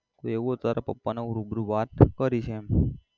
જો એવું હોય તો તાર પપ્પાને હું રૂબરૂ વાત કરીસ એમ.